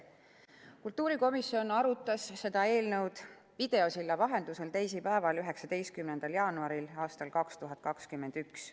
Kultuurikomisjon arutas seda eelnõu videosilla vahendusel teisipäeval, 19. jaanuaril aastal 2021.